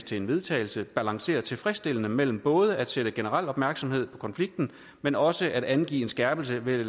til vedtagelse balancerer tilfredsstillende mellem både at skabe generel opmærksomhed på konflikten men også at angive en skærpelse ved